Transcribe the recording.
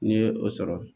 N'i ye o sɔrɔ